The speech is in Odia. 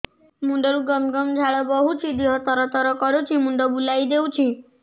ମୁଣ୍ଡରୁ ଗମ ଗମ ଝାଳ ବହୁଛି ଦିହ ତର ତର କରୁଛି ମୁଣ୍ଡ ବୁଲାଇ ଦେଉଛି